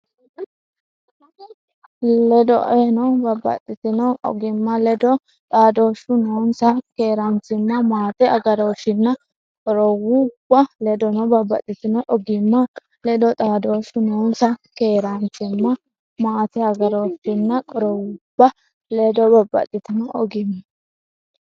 Ledoeno, babbaxxitino ogimma ledo xaadooshshu noonsa keeraanchim- mate agarooshshinna qorowubba Ledoeno, babbaxxitino ogimma ledo xaadooshshu noonsa keeraanchim- mate agarooshshinna qorowubba Ledoeno, babbaxxitino ogimma.